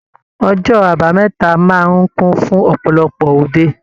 Ọjọ́ àbámẹ́ta máa ń kún fún ọ̀pọ̀lọpọ̀ òde